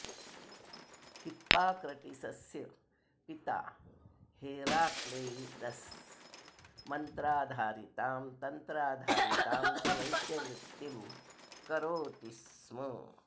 हिप्पाक्रटीसस्य पिता हेराक्लैड्स् मन्त्राधारितां तन्त्राधारितां च वैद्यवृत्तिं करोति स्म